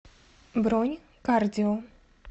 бронь кардио